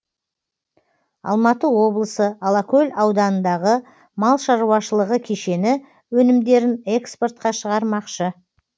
алматы облысы алакөл ауданындағы мал шаруашылығы кешені өнімдерін экспортқа шығармақшы